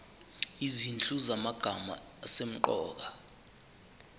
izinhlu zamagama asemqoka